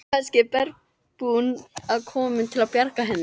Kannski var bergbúinn enn kominn til að bjarga henni.